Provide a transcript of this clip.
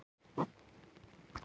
Kristján Már: Hver er þessi eini?